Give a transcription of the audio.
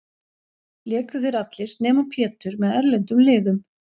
Léku þeir allir, nema Pétur, með erlendum liðum.